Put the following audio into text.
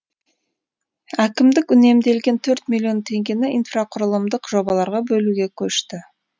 әкімдік үнемделген төрт миллион теңгені инфрақұрылымдық жобаларға бөлуге көшті